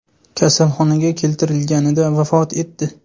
kasalxonaga keltirilganida vafot etdi.